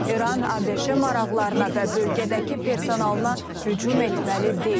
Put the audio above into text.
İran ABŞ maraqlarına və bölgədəki personalına hücum etməli deyil.